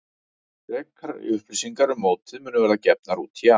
Frekari upplýsingar um mótið munu verða gefnar út í janúar.